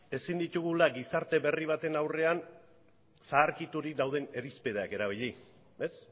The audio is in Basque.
ezin ditugula gizarte berri baten aurrean zaharkiturik dauden irizpideak erabili ez